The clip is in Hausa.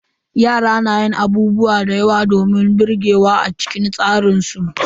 Yara na yin abubuwa domin birgewa a cikin tsaran su.